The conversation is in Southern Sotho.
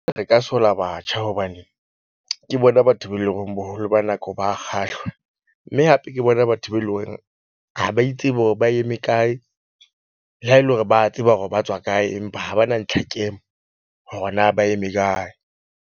Re ka sola batjha hobane ke bona batho be leng hore boholo ba nako ba kgahlwa. Mme hape ke bona batho be leng hore ha ba itsebe hore ba eme kae le ha e le hore ba tseba hore ba tswa kae empa ha ba na le hore na ba eme kae.